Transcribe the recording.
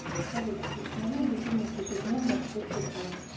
салют установи будильник ежедневно в шесть утра